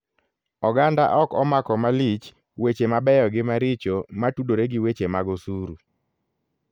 Oganda ok omako malich weche mabeyo gi maricho matudore gi weche mag osuru.